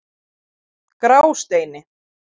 Grásteini